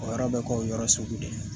O yɔrɔ bɛ ko o yɔrɔ sugu de ye